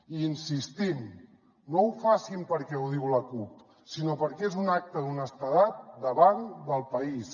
i hi insistim no ho facin perquè ho diu la cup sinó perquè és un acte d’honestedat davant del país